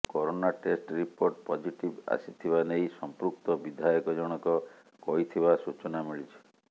corona test report positive ଆସିଥିବା ନେଇ ସଂପୃକ୍ତ ବିଧାୟକ ଜଣକ କହିଥିବା ସୂଚନା ମିଳିଛି